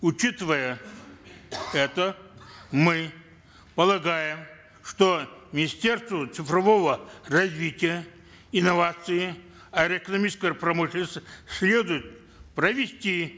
учитывая это мы полагаем что министерству цифрового развития инноваций промышленности следует провести